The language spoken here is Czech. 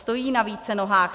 Stojí na více nohách.